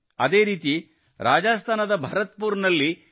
ಅದೇ ರೀತಿ ರಾಜಸ್ಥಾನದ ಭರತ್ಪುರದಲ್ಲಿ ಪಿ